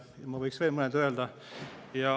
Ja ma võiks veel mõned öelda.